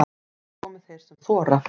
Komi þeir sem þora